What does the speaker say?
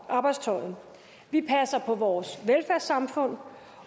arbejdstøjet vi passer på vores velfærdssamfund